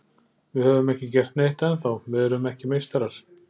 Við höfum ekki gert neitt ennþá, við erum ekki meistarar.